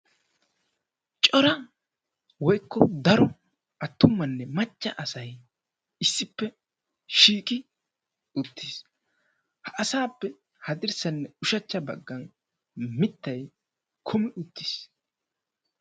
cora woykko daro attumanne macca asay issippe shiiqi uttiis, ha asappe haddirssanne ushachcha baggan mittay kummi uttiis.